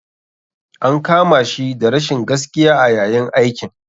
An kama shi da rashin gaskiya a yayin aikin.